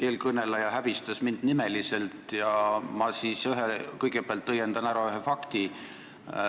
Eelkõneleja häbistas mind nimeliselt ja ma kõigepealt õiendan ära ühe fakti.